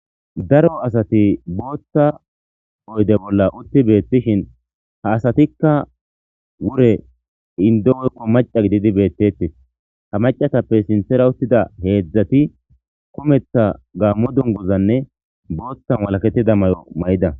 daro asati bootta oyde bolla utti beettishin ha asatikka wure indo woykko maca gididi beettettes ha macatappe sinthera uttida heedzdzati kumetha gaammo dunguzanne boothta walakettida mayo mayida